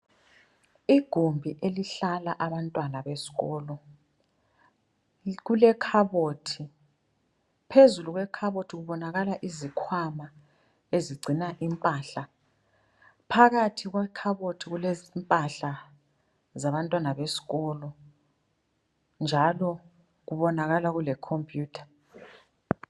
Igumbi elihlala Abantwana besikolo kulekhabothi ,phezulu kwekhabothi kubonakala izikhwama ezigcina impahla , phakathi kwekhabothi kulezimpahla zabantwana besikolo ,njalo kubonakala kule computer.